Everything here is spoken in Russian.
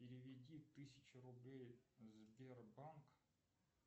переведи тысячу рублей сбербанк